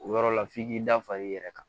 O yɔrɔ la f'i k'i da fa i yɛrɛ kan